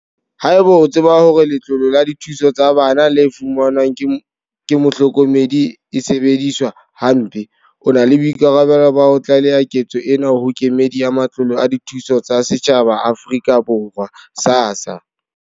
Haeba o tseba hore letlole la dithuso tsa bana le fumanwang ke mohlokomedi e sebediswa hampe, o na le boikarabelo ba ho tlaleha ketso ena ho Kemedi ya Matlole a Dithuso tsa Setjhaba a Afrika Borwa, SASSA.